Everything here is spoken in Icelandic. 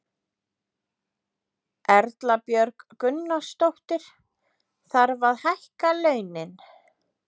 Erla Björg Gunnarsdóttir: Þarf að hækka launin?